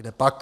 Kdepak.